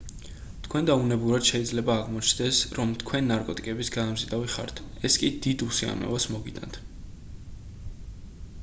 თქვენდა უნებურად შეიძლება აღმოჩნდეს რომ თქვენ ნარკოტიკების გადამზიდავი ხართ ეს კი დიდ უსიამოვნებას მოგიტანთ